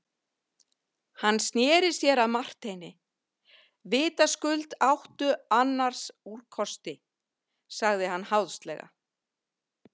Hann sneri sér að Marteini:-Vitaskuld áttu annars úrkosti, sagði hann háðslega.